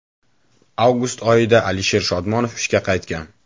Avgust oyida Alisher Shodmonov ishga qaytgan .